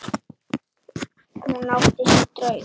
Hún átti sér draum.